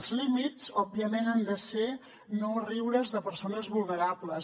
els límits òbviament han de ser no riure’s de persones vulnerables